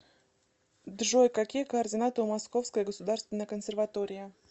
джой какие координаты у московская государственная консерватория